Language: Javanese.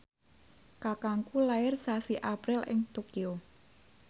kakangku lair sasi April ing Tokyo